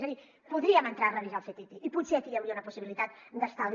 és a dir podríem entrar a revisar el ctti i potser aquí hi hauria una possibilitat d’estalvi